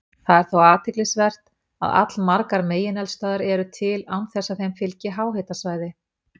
Það er þó athyglisvert að allmargar megineldstöðvar eru til án þess að þeim fylgi háhitasvæði.